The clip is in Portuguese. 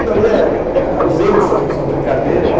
Tudo ali é, os erros são, são brincadeira.